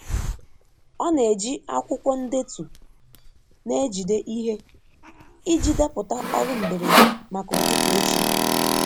Ọ na-eji akwụkwọ ndetu na-ejide ihe iji depụta ọrụ mberede maka ụtụtụ echi.